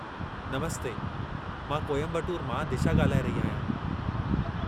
नमस्ते! मां कोयम्बटूर मां दिशा ॻाल्हाए रही आहियां।